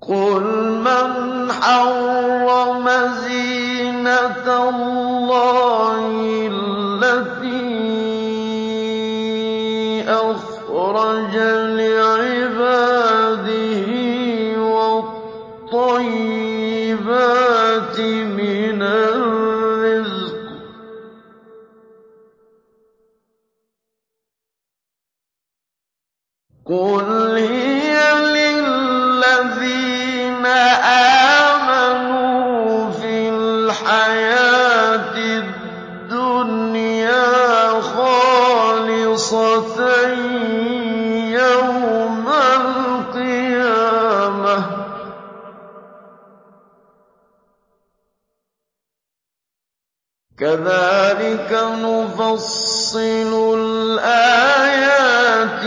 قُلْ مَنْ حَرَّمَ زِينَةَ اللَّهِ الَّتِي أَخْرَجَ لِعِبَادِهِ وَالطَّيِّبَاتِ مِنَ الرِّزْقِ ۚ قُلْ هِيَ لِلَّذِينَ آمَنُوا فِي الْحَيَاةِ الدُّنْيَا خَالِصَةً يَوْمَ الْقِيَامَةِ ۗ كَذَٰلِكَ نُفَصِّلُ الْآيَاتِ